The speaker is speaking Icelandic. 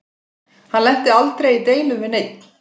Hann lenti aldrei í deilum við neinn.